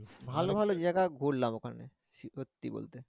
ভালো ভালো জায়গা ঘুরলাম। ওখানে সিফাত কি বলছে?